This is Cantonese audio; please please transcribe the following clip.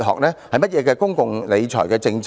甚麼的公共理財政策？